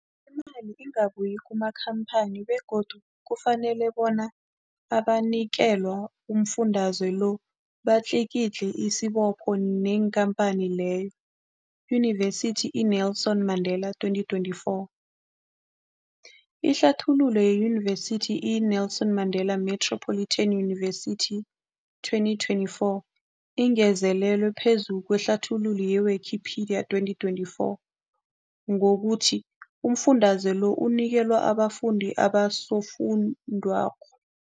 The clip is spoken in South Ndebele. Imali ingabuyi kumakhamphani begodu kufanele labo abanikelwa umfundaze lo batlikitliki isibopho neenkhamphani leyo, Yunivesity i-Nelson Mandela 2024. Ihlathululo yeYunivesithi i-Nelson Mandela Metropolitan University, 2024, ingezelele phezu kwehlathululo ye-Wikipedia, 2024, ngokuthi umfundaze lo unikelwa abafundi nabosofundwakgho.